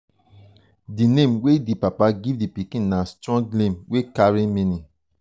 di name wey di papa give di pikin na strong name wey carry meaning.